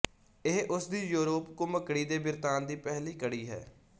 ਇਹ ਉਸਦੀ ਯੋਰੂਪ ਘੁਮਕੜੀ ਦੇ ਬਿਰਤਾਂਤ ਦੀ ਪਹਿਲੀ ਕੜੀ ਹੈ